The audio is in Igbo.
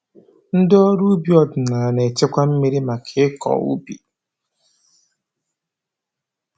Ndị ọrụ ubi ọdịnaala na-echekwa mmiri maka ịkọ ubi